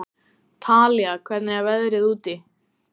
Talía, hvernig er veðrið úti?